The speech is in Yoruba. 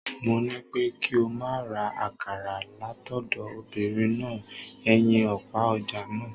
Mo ní pé kí ọ máa ra akàrà látọ̀dọ̀ obinrin náà ẹnyin òpá ọ̀ja náà.